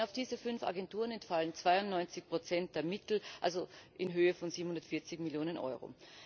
Allein auf diese fünf Agenturen entfallen 92 der Mittel in Höhe von 740 Millionen Euro.